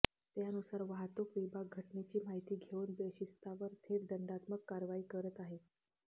त्यानुसार वाहतूक विभाग घटनेची माहिती घेऊन बेशिस्तावर थेट दंडात्मक कारवाई करत आहे